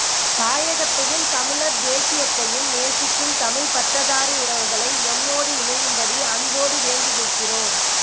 தாயகத்தையும் தமிழர் தேசியத்தையும் நேசிக்கும் தமிழ் பட்டதாரி உறவுகளை எம்மோடு இணையும்படி அன்போடு வேண்டி நிற்கின்றோம்